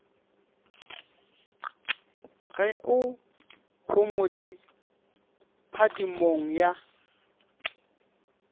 ge o homotše phadimong ya